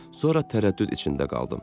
Sonra tərəddüd içində qaldım.